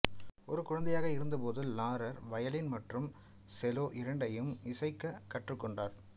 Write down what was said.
ஒரு குழந்தையாக இருந்தபோது லாரர் வயலின் மற்றும் செலோ இரண்டையும் இசைக்க கற்றுக்கொண்டார்